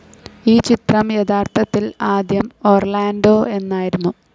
ഈ ചിത്രം യഥാർത്ഥത്തിൽ ആദ്യം ഒർലാൻഡോ എന്നായിരുന്നു.